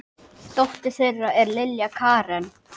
Dóttir þeirra er Lilja Karen.